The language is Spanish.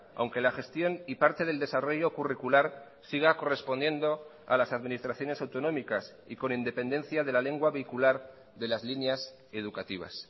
aunque la gestión y parte del desarrollo curricular siga correspondiendo a las administraciones autonómicas y con independencia de la lengua vehicular de las líneas educativas